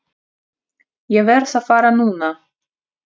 Ég verð að fara núna!